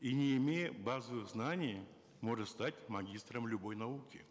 и не имея базовых знаний может стать магистром любой науки